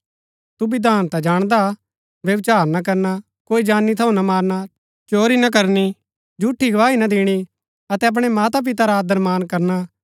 तू विधान ता जाणदा व्यभिचार ना करना कोई जानी थऊँ ना मारणा चोरी ना करनी झूठी गवाही ना दिणी अतै अपणै माता पिता रा आदरमान करना